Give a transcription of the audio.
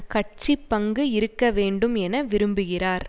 கட்சி பங்கு இருக்க வேண்டும் என விரும்புகிறார்